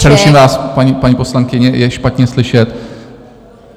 Přeruším vás, paní poslankyně, je špatně slyšet.